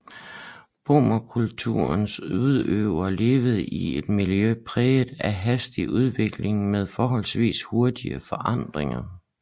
Brommekulturens udøvere levede i et miljø præget af hastig udvikling med forholdsvis hurtige forandringer